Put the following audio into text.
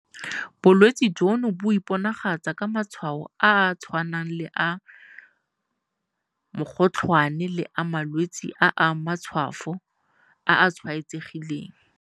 Bolwetse jono bo iponagatsa ka matshwao a a tshwanang le a mokgotlhwane le a malwetse a matshwafo a a tshwaetsegileng.